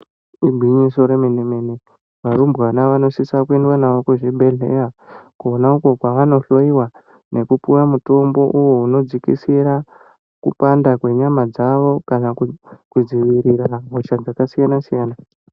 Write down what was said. Igwinyiso remene -mene varumbwana vanosisa kwendwa navo kuzvibhedhleya konako kwavanohloiwa nekupuwa mutombo uvo unodzikisira kupanda kwenyama dzavo, kana kudzivirira hosha dzakasiyana-siyana.